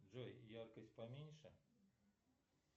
джой яркость поменьше